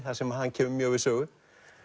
þar sem hann kemur mjög við sögu